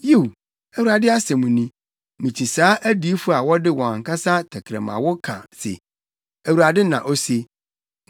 Yiw,” Awurade asɛm ni, “mikyi saa adiyifo a wɔde wɔn ankasa tɛkrɛmawo ka se, ‘ Awurade na ose.’